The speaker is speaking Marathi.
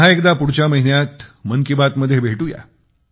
पुन्हा एकदा पुढच्या महिन्यात मन की बात मध्ये भेटूया